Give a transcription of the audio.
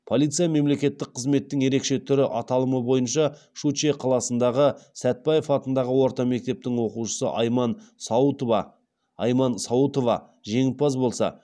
полиция мемлекеттік қызметтің ерекше түрі аталымы бойынша щучье қаласындағы сәтбаев атындағы орта мектептің оқушысы айман сауытова айман сауытова жеңімпаз болса